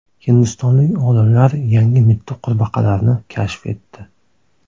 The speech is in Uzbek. Hindistonlik olimlar yangi mitti qurbaqalarni kashf etdi.